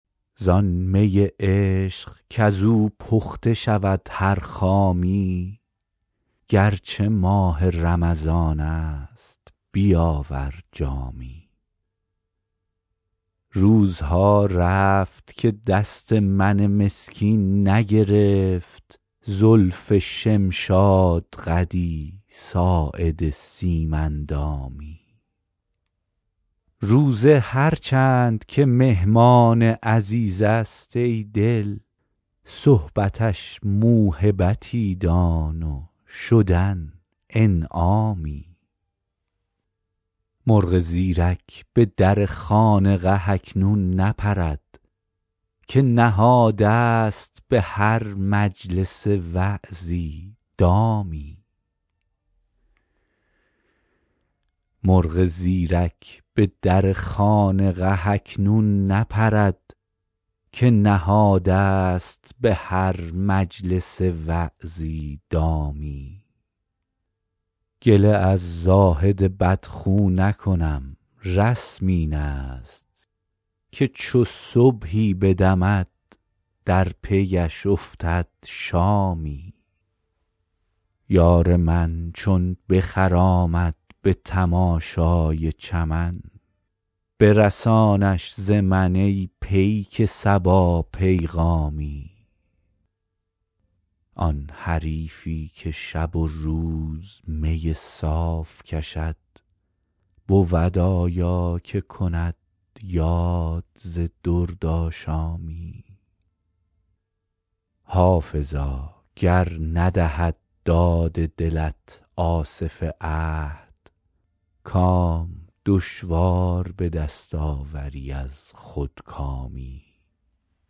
زان می عشق کز او پخته شود هر خامی گر چه ماه رمضان است بیاور جامی روزها رفت که دست من مسکین نگرفت زلف شمشادقدی ساعد سیم اندامی روزه هر چند که مهمان عزیز است ای دل صحبتش موهبتی دان و شدن انعامی مرغ زیرک به در خانقه اکنون نپرد که نهاده ست به هر مجلس وعظی دامی گله از زاهد بدخو نکنم رسم این است که چو صبحی بدمد در پی اش افتد شامی یار من چون بخرامد به تماشای چمن برسانش ز من ای پیک صبا پیغامی آن حریفی که شب و روز می صاف کشد بود آیا که کند یاد ز دردآشامی حافظا گر ندهد داد دلت آصف عهد کام دشوار به دست آوری از خودکامی